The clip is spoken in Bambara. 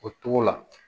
O togo la